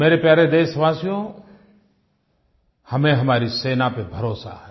मेरे प्यारे देशवासियो हमें हमारी सेना पर भरोसा है